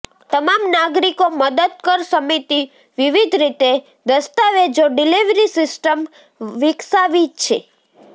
તમામ નાગરિકો મદદ કર સમિતિ વિવિધ રીતે દસ્તાવેજો ડિલિવરી સિસ્ટમ વિકસાવી છે